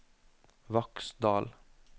Vaksdal